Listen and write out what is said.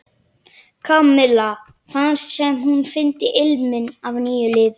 Kamilla fannst sem hún fyndi ilminn af nýju lífi.